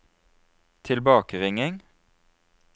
tilbakeringing